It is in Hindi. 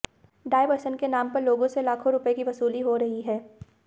डायवर्सन के नाम पर लोगों से लाखों रुपए की वसूली हो रही है